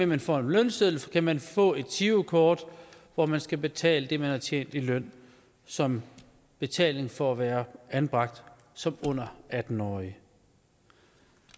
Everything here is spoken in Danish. man får en lønseddel kan man få et girokort hvor man skal betale det man har tjent i løn som betaling for at være anbragt som under atten årig